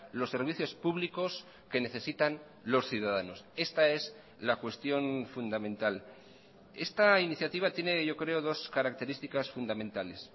los servicios públicos que necesitan los ciudadanos esta es la cuestión fundamental esta iniciativa tiene yo creo dos características fundamentales